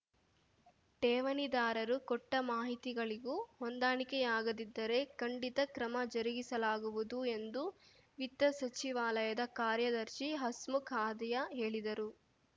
ಠೇವಣಿದಾರರು ಕೊಟ್ಟಮಾಹಿತಿಗಳಿಗೂ ಹೊಂದಾಣಿಕೆಯಾಗದಿದ್ದರೆ ಖಂಡಿತ ಕ್ರಮ ಜರುಗಿಸಲಾಗುವುದು ಎಂದು ವಿತ್ತ ಸಚಿವಾಲಯದ ಕಾರ್ಯದರ್ಶಿ ಹಸ್ಮುಖ್‌ ಅಧಿಯಾ ಹೇಳಿದರು